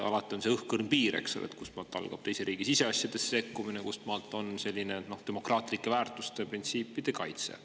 Alati on see õhkõrn piir, kust maalt algab teise riigi siseasjadesse sekkumine, kust maalt on tegu demokraatlike väärtuste ja printsiipide kaitsega.